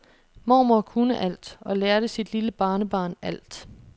Mormor kunne alt og lærte sit lille barnebarn alt.